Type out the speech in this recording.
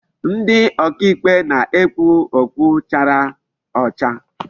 Ndi oka ikpe na-ekpu okpu chara ocha.